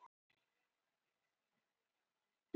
Fabrisíus, slökktu á niðurteljaranum.